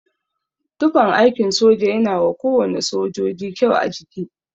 Tufan aikin soja yana wa kowane sojoji kyau a jiki.